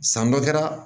San dɔ kɛra